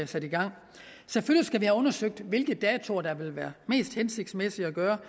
sat i gang selvfølgelig skal vi have undersøgt hvilke datoer der vil være mest hensigtsmæssige at gøre